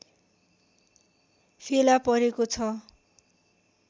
फेला परेको छ